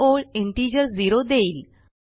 ही ओळ integer zero देईल